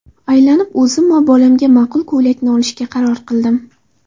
Aylanib o‘zim va bolamga ma’qul ko‘ylakni olishga qaror qildim.